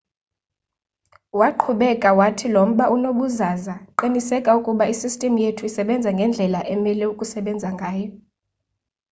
waqhubeka wathi lo mba unobuzaza qiniseka ukuba isistim yethu isbenza ngendlela emele ukusebenza ngayo